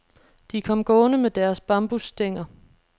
De kom gående med deres bambusstænger.